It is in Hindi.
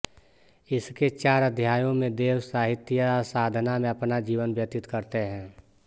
इसके चार अध्यायों में देव साहित्यसाधना में अपना जीवन व्यतीत करते हैं